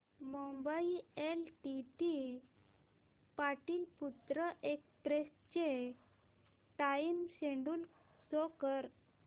Mumbai LTT Pataliputra express चे time schedule show कर